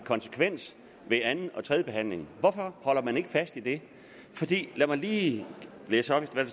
konsekvente ved anden og tredjebehandlingen hvorfor holder man ikke fast i det lad mig lige læse op hvad